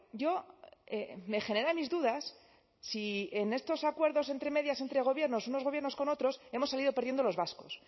yo me genera mis dudas si en estos acuerdos entre medias entre gobiernos unos gobiernos con otros hemos salido perdiendo los vascos